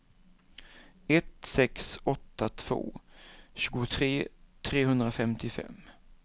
ett sex åtta två tjugotre trehundrafemtiofem